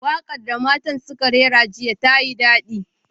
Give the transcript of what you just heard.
Wakar da matan suka rera jiya tayi dadi.